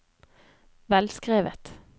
velskrevet